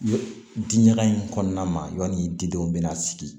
Diɲaga in kɔnɔna ma y'a didenw bɛna sigi